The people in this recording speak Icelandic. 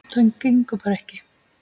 Það gengur bara ekki.